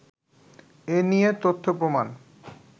এ নিয়ে তথ্যপ্রমাণ